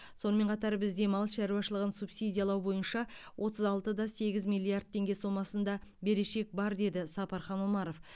сонымен қатар бізде мал шаруашылығын субсидиялау бойынша отыз алты да сегіз миллиард теңге сомасында берешек бар деді сапархан омаров